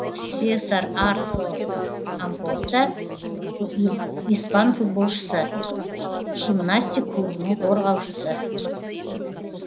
сесар арсо ампоста испан футболшысы химнастик клубының қорғаушысы